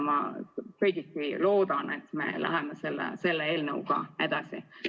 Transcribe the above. Ma loodan, et me läheme selle eelnõuga edasi.